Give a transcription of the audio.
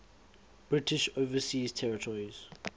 british overseas territories